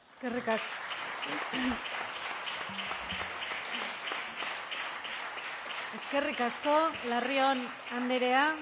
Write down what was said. eskerrik asko larrion andrea